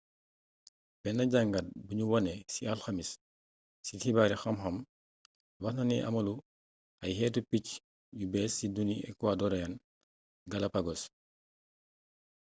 benn jàngat buñu wane ci alxamis ci xibaari xamxam waxna ci amalu ay xeetu picc yu bées ci duni ecuadorean galápagos